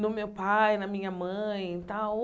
no meu pai, na minha mãe e tal.